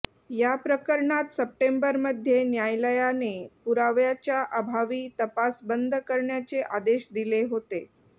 याप्रकरणात सप्टेंबरमध्ये न्यायालायाने पुराव्याच्या अभावी तपास बंद करण्याचे आदेश दिले होते